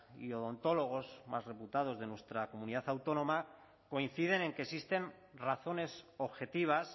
y odontólogos más reputados de nuestra comunidad autónoma coinciden en que existen razones objetivas